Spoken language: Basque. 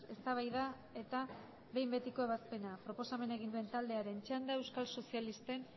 eztabaida eta behin betiko ebazpena proposamena egin duen taldearen txanda euskal sozialisten